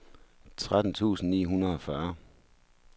tretten tusind ni hundrede og fyrre